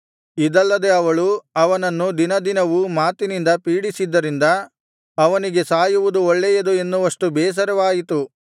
ಇದಲ್ಲದೆ ಅವಳು ಅವನನ್ನು ದಿನದಿನವೂ ಮಾತಿನಿಂದ ಪೀಡಿಸಿದ್ದರಿಂದ ಅವನಿಗೆ ಸಾಯುವುದು ಒಳ್ಳೆಯದು ಎನ್ನುವಷ್ಟು ಬೇಸರವಾಯಿತು